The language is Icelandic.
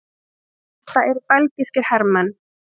Þetta eru belgískir hermenn.